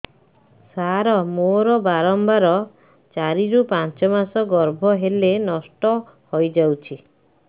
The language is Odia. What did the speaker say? ସାର ମୋର ବାରମ୍ବାର ଚାରି ରୁ ପାଞ୍ଚ ମାସ ଗର୍ଭ ହେଲେ ନଷ୍ଟ ହଇଯାଉଛି